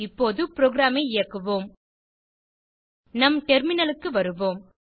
இப்போது புரோகிராம் ஐ இயக்குவோம் நம் டெர்மினலுக்கு வருவோம்